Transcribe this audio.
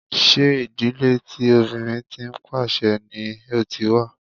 Ṣé ìdílé tí obìnrin tí ń pàṣe ni o ti wá?